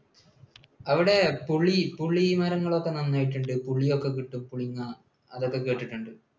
അവിടെ പുളി പുളിമരങ്ങൾ ഒക്കെ നന്നായിട്ടുണ്ട് പുളി ഒക്കെ കിട്ടും, പുളിങ്ങ, അതൊക്കെ കേട്ടിട്ടുണ്ടോ?